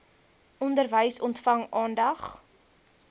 onderwys ontvang aandag